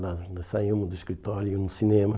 Nós saímos do escritório e íamos ao cinema.